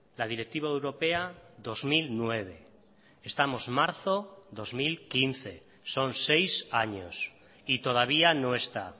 la directiva europea dos mil nueve estamos marzo dos mil quince son seis años y todavía no está